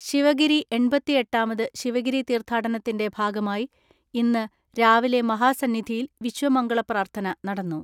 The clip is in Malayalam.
ശിവഗിരി എണ്‍പത്തിഎട്ടാമത് ശിവഗിരി തീർത്ഥാടനത്തിന്റെ ഭാഗമായി ഇന്ന് രാവിലെ മഹാസന്നിധിയിൽ വിശ്വമംഗള പ്രാർത്ഥന നടന്നു.